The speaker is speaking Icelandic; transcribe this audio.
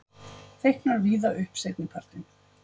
Þykknar víða upp seinnipartinn